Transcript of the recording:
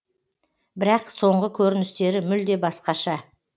бірақ соңғы көріністері мүлде басқаша